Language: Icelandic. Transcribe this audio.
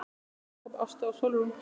Elsku Jakob, Ásta og Sólrún.